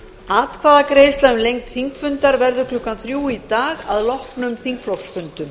atkvæðagreiðsla um lengd þingfundar verður klukkan þrjú í dag að loknum þingflokksfundum